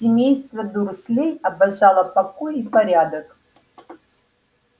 семейство дурслей обожало покой и порядок